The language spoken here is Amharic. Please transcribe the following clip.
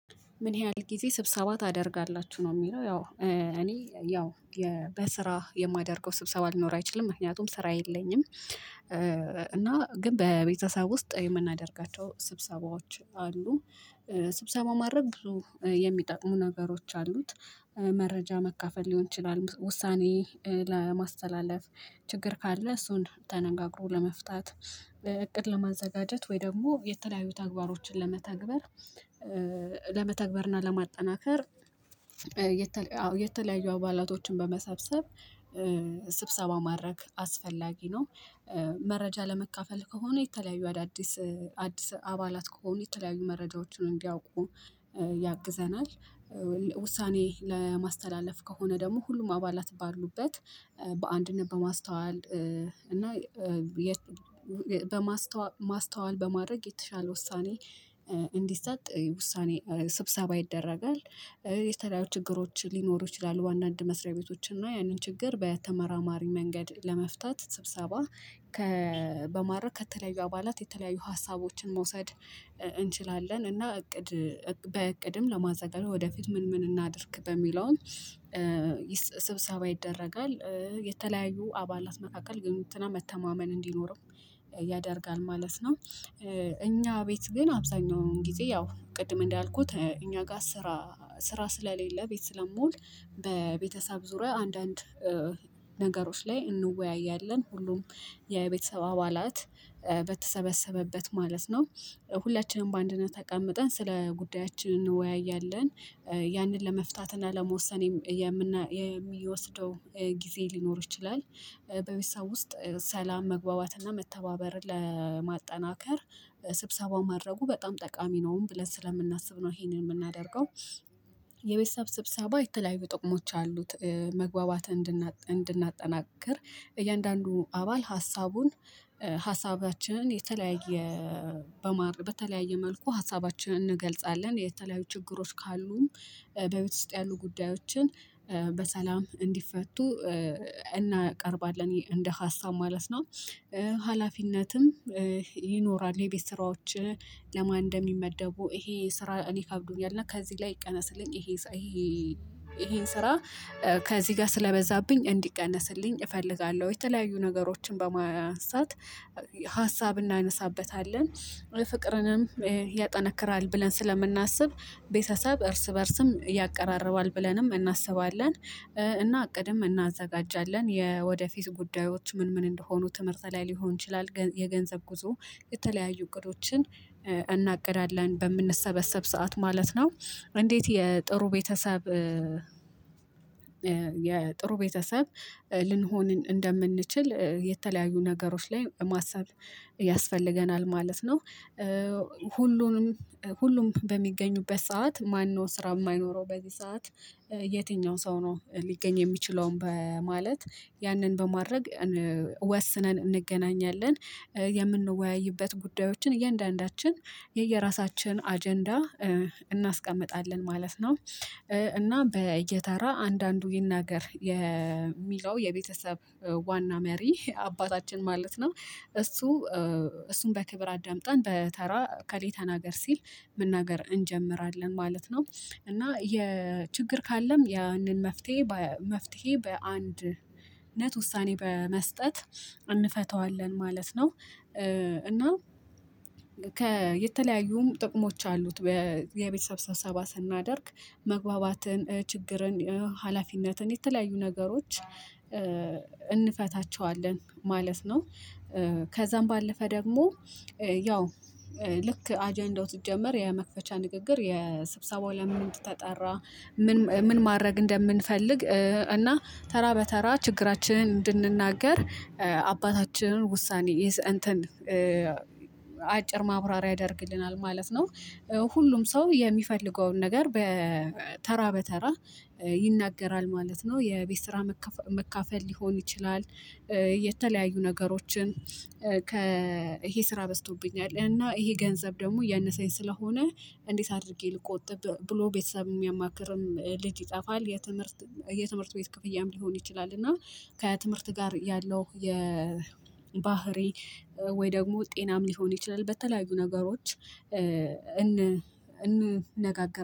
ምን ያህል ጊዜ ስብሰባ ታደርጋላችሁ ነው? የሚለው ያው እኔ ያው በስራ የማደርገው ስብሰባ ሊኖር አይችልም ምክንያቱም ስራ የለኝም። እና ግን በቤተሰብ ውስጥ የምናደርጋቸው ስብሰባዎች አሉ። ስብሰባውን ማድረግ ብዙ የሚጠቅሙ ነገሮች አሉት። መረጃ መካፈል ሊሆን ይችላል ውሳኔ ለማስተላለፍ ችግር ካለ እሱን ተነጋግሮ ለመፍታት። እቅድ ለማዘጋጀት ወይ ደግሞ የተለያዩ ተግባሮችን ለመተግበር ለመተግበርና ለማጠናከር የተለያዩ አባላቶችን በመሰብሰብ ስብሰባ ማድረግ አስፈላጊ ነው። መረጃ ለመካፈል ከሆነ የተለያዩ አዳዲስ አዲስ አባላት ከሆነ የተለያዩ መረጃዎችን እንዲያውቁ ያግዘናል። ውሳኔ ለማስተላለፍ ከሆነ ደግሞ ሁሉም አባላት ባሉበት በአንድነት በማስተዋል እና በማስተዋል ማስተዋል በማድረግ የተሻለ ውሳኔ እንዲሰጥ ውሳኔ ስብሰባ ይደረጋል። የተለያዩ ችግሮች ሊኖሩ ይችላሉ አንዳንድ መስሪያ ቤቶችን እና ያንን ችግር በተመራማሪ መንገድ ለመፍታት ስብሰባ ከ በማረግ ከተለያዩ አባላት የተለያዩ ሀሳቦችን መውሰድ እንችላለን። እና እቅድ በእቅድም ለማዘጋጀት ወደፊት ምን ምን እናድርግ በሚለውም ስብሰባ ይደረጋል። የተለያዩ አባላት መካከል ግንኙነትና መተማመን እንዲኖረው ያደርጋል ማለት ነው። እኛ ቤት ግን አብዛኛውን ጊዜ ያው ቅድም እንዳልኩት እኛ ጋር ስራ ስራ ስለሌለ ቤት ስለምውል። በቤተሰብ ዙሪያ አንዳንድ ነገሮች ላይ እንወያያለን ሁሉም የቤተሰብ አባላት በተሰበሰበበት ማለት ነው። ሁላችንም በአንድነት ተቀምጠን ስለ ጉዳያችን እንወያያለን። ያንን ለመፍታት እና ለመወሰን የሚወስደው ጊዜ ሊኖር ይችላል። በቤተሰብ ውስጥ ሰላም መግባባትና መተባበርን ለማጠናከር ስብሰባውን ማድረጉ በጣም ጠቃሚ ነውም ብለን ስለምናስብ ነው ይሄንን የምናደርገው። የቤተሰብ ስብሰባ የተለያዩ ጥቅሞች አሉት። መግባባትን እንድናጠናክር እያንዳንዱ አባል ሀሳቡን ሀሳባችንን የተለያየ በማር በተለያየ መልኩ ሀሳባችንን እንገልጻለን የተለያዩ ችግሮች ካሉም በቤተሰብ ውስጥ ያሉ ጉዳዮችን በሰላም እንዲፈቱ እናቀርባለን እንደ ሀሳብ ማለት ነው። ሀላፊነትም ይኖራል የቤተሰራዎች ለማን እንደሚመደቡ ይሄ ስራ እኔ ከብዶኛል እና ከዚህ ላይ ይቀነስልኝ ይሄ ይሄን ስራ ከዚህ ጋር ስለበዛብኝ እንዲቀነስልኝ እፈልጋለሁ። የተለያዩ ነገሮችን በማንሳት ሀሳብ እናነሳበታለን ፍቅርንም ያጠነክራል ብለን ስለምናስብ ቤተሰብ እርስ በእርስም ያቀራርባል ብለንም እናስባለን። እና እቅድም እናዘጋጃለን የወደፊት ጉዳዮች ምን ምን እንደሆኑ ትምህርት ላይ ሊሆን ይችላል የገንዘብ ጉዞ የተለያዩ እቅዶችን እናቅዳለን በምንሰበሰብ ሰዓት ማለት ነው። እንዴት? የጥሩ ቤተሰብ የጥሩ ቤተሰብ ልንሆን እንደምንችል የተለያዩ ነገሮች ላይ ማሰብ ያስፈልገናል ማለት ነው። ሁሉንም ሁሉም በሚገኙበት ሰዓት ማነው? ስራ የማይኖረው በዚህ ሰዓት? የትኛው ሰው ነው? ሊገኝ የሚችለውን በማለት ያንን በማድረግ ወስነን እንገናኛለን። የምንወያይበት ጉዳዮችን እያንዳንዳችን የየራሳችን አጀንዳ እናስቀምጣለን ማለት ነው። እና በየተራ አንዳንዱ ይናገር የሚለው የቤተሰብ ዋና መሪ አባታችን ማለት ነው እሱ እሱን በክብር አዳምጠን በተራ እከሌ አገር ሲል መናገር እንጀምራለን ማለት ነው። እና የችግር ካለም ያንን መፍትሄ መፍትሄ በአንድነት ውሳኔ በመስጠት እንፈታዋለን ማለት ነው። እና ከ የተለያዩም ጥቅሞች አሉት። የቤተሰብ ሰብሳባ ስናደርግ መግባባትን ችግርን ሀላፊነትን የተለያዩ ነገሮች እንፈታቸዋለን ማለት ነው። ከዛም ባለፈ ደግሞ ያው ልክ አጀንዳው ሲጀመር የመክፈቻ ንግግር የ ስብሰባው ለምን እንደተጠራ። ምን ምን ማድረግ እንደምንፈልግ እና ተራ በተራ ችግራችንን እንድንናገር አባታችንን ውሳኔ ይሰ እንትን አጭር ማብራሪያ ያደርግልናል ማለት ነው። ሁሉም ሰው የሚፈልገውን ነገር በተራ በተራ ይናገራል ማለት ነው። የቤት ስራ መካፈል ሊሆን ይችላል። የተለያዩ ነገሮችን ከ ይሄ ስራ በዝቶብኛል እና ይሄ ገንዘብ ደግሞ እያነሰኝ ስለሆነ። እንዴት? አድርጌ ልቆጥብ ብሎ ቤተሰብ የሚያማክርም ልጅ ይጠፋል? የትምህርት የትምህርት ቤት ክፍያም ሊሆን ይችላል። እና ከትምህርት ጋር ያለው የባህሪ ወይ ደግሞ ጤናም ሊሆን ይችላል። በተለያዩ ነገሮች እን እንነጋገር